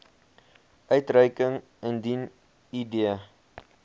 uitreiking indien id